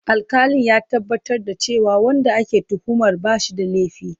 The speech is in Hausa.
Alƙalin ya tabbatar da cewa wanda ake tuhumar ba shi da laifi.